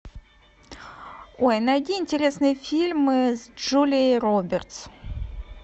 ой найди интересные фильмы с джулией робертс